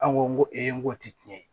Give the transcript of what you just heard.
An ko n ko n ko ti tiɲɛ ye